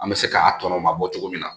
An bɛ se k'a tɔ mabɔ cogo min na